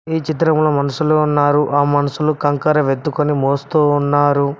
ఈ చిత్రంలో మనుషులు ఉన్నారు ఆ మనుషులు కంకర వెత్తుకొని మోస్తూ ఉన్నారు.